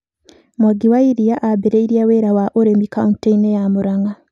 Mwangi wa Iria aambĩrĩirie wĩra wa ũrĩmi kaunti-inĩ ya Murang'a.